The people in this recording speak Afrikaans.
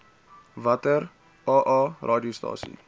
watter aa radiostasies